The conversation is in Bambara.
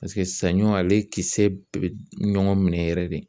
Paseke saɲɔ ale kisɛ bɛɛ bɛ ɲɔgɔn minɛ yɛrɛ de.